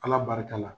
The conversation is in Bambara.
Ala barika la